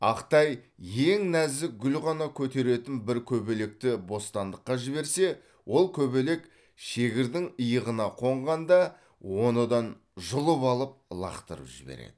ақтай ең нәзік гүл ғана көтеретін бір көбелекті бостандыққа жіберсе ол көбелек шегірдің иығына қонғанда оны дан жұлып алып лақтырып жібереді